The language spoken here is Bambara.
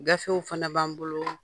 Gafew fana b'an bolo,